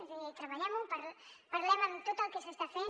és a dir treballem ho parlem de tot el que s’està fent